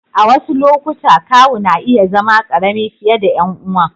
A wasu lokuta, kawu na iya zama ƙarami fiye da ƴan uwan.